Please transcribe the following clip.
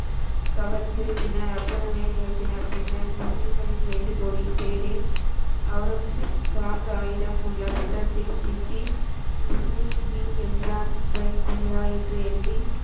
கவர்ந்து பின்னர் அற்புதங்களை நிகழ்த்தினார், பின்னர் முஸ்லிம்களின் வேண்டுகோளின் பேரில் அவுரங்கசீப், ராம் ராயிடம் உள்ள புத்தகத்தில் மிட்டி, முஸ்லிம் கீ எம்ப்ராத் பை குமிரா என்று எழுதி,